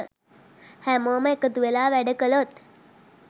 හැමෝම එකතුවෙලා වැඩ කළොත්